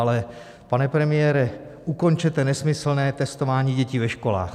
Ale, pane premiére, ukončete nesmyslné testování dětí ve školách.